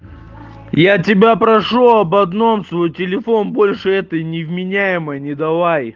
я тебя прошу об одном свой телефон больше этой невменяемой не давай